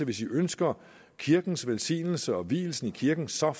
hvis i ønsker kirkens velsignelse og vielsen i kirken så